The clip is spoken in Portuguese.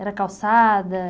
Era calçada?